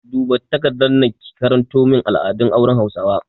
Duba takardar nan ki karanto min al'adun auren hausawa!